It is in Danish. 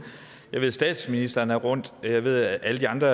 jeg ved at statsministeren er rundt jeg ved at alle de andre